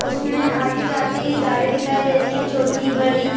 उसमें आती जाती गाड़ी दिखाई रही हैं। छोटी-बड़ी --